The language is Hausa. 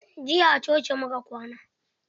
Jiya a coci muka kwana.